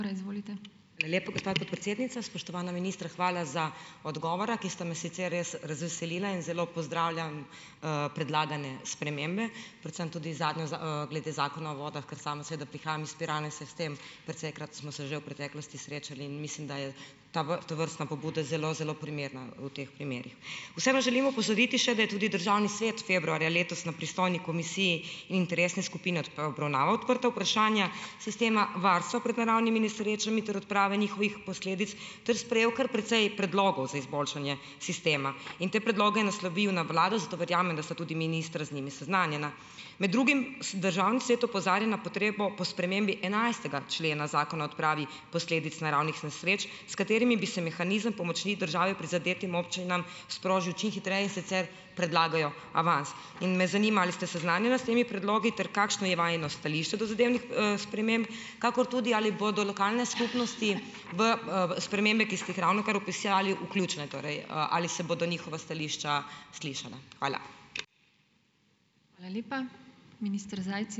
Hvala lepa, gospa podpredsednica. Spoštovana ministra, hvala za odgovora, ki sta me sicer res razveselila in zelo pozdravljam, predlagane spremembe, predvsem tudi zadnjo glede zakona o vodah, ker sama seveda prihajam iz Pirana in se s tem, precejkrat smo se že v preteklosti srečali in mislim, da je tovrstna pobuda zelo, zelo primerna v teh primerih. Vse pa želim opozoriti še, da je tudi državni svet februarja letos na pristojni komisiji interesne skupine obravnaval odprta vprašanja sistema varstva pred naravnimi nesrečami, torej odprave njihovih posledic, ter sprejel kar precej predlogov za izboljšanje sistema. In te predloge je naslovil za vlado, zato verjamem, da sta tudi ministra z njimi seznanjena. Med drugim državni svet opozarja na potrebo po spremembi enajstega člena zakona odpravi posledic naravnih nesreč, s katerimi bi se mehanizem pomoči države prizadetim občinam sprožil čim hitreje, in sicer predlagajo avans. In me zanima, ali sta seznanjena s temi predlogi ter kakšno je vajino stališče do zadevnih, sprememb. Kakor tudi, ali bodo lokalne skupnosti v, spremembe, ki ste jih ravnokar opisali, vključene? Torej, ali se bodo njihova stališča slišana? Hvala.